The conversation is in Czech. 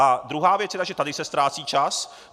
A druhá věc je ta, že tady se ztrácí čas.